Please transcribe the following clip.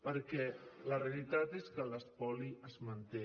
perquè la realitat és que l’espoli es manté